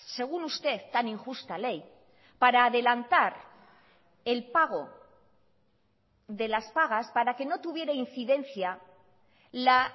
según usted tan injusta ley para adelantar el pago de las pagas para que no tuviera incidencia la